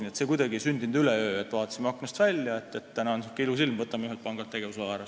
Nii et see ei sündinud kuidagi üleöö, et vaatasime aknast välja, täna on niisugune ilus ilm, võtame ühelt pangalt tegevusloa ära.